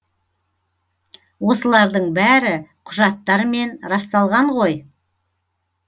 осылардың бәрі құжаттармен расталған ғой